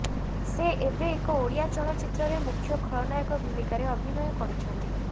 ସେ ଏବେ ଏକ ଓଡ଼ିଆ ଚଳଚ୍ଚିତ୍ରରେ ମୁଖ୍ୟ ଖଳନାୟକ ଭୂମିକାରେ ଅଭିନୟ କରୁଛନ୍ତି